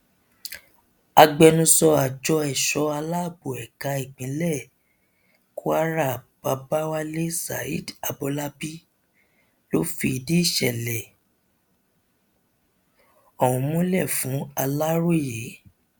agbẹnusọ àjọ èso aláàbọ ẹka ti ìpínlẹ kwara babawalé zaid abọlábí ló fìdí ìṣẹlẹ ọhún múlẹ fún aláròye